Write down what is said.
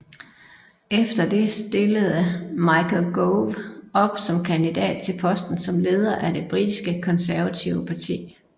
Efter det stillede Michael Gove op som kandidat til posten som leder af det britiske Konservative Parti